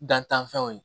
Dantanfɛnw ye